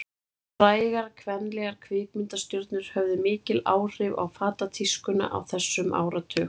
Frægar kvenlegar kvikmyndastjörnur höfðu mikil áhrif á fatatískuna á þessum áratug.